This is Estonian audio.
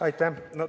Aitäh!